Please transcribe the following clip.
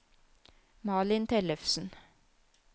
Malin Tellefsen